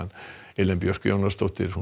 Elín Björk Jónasdóttir